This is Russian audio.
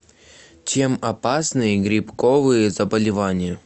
чем опасны грибковые заболевания